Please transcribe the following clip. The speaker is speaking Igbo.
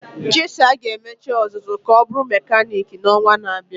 Chisa ga emecha ọzụzụ ka ọ bụrụ mekaniiki n'ọnwa na-abịa.